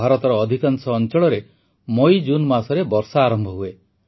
ଭାରତର ଅଧିକାଂଶ ଅଂଚଳରେ ମଇଜୁନ୍ ମାସରେ ବର୍ଷା ଆରମ୍ଭ ହୁଏ